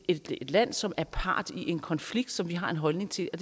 et land som er part i en konflikt som vi har en holdning til og